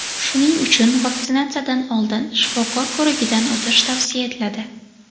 Shuning uchun vaksinatsiyadan oldin shifokor ko‘rigidan o‘tish tavsiya etiladi.